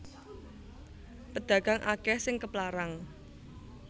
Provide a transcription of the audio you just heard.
Pedagang akeh sing keplarang